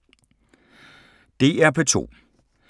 DR P2